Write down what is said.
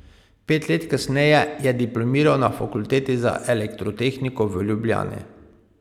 Pet let kasneje je diplomiral na Fakulteti za elektrotehniko v Ljubljani.